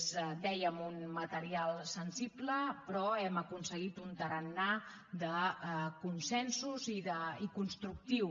és ho dèiem un material sensible però hem aconseguit un tarannà de consensos i constructiu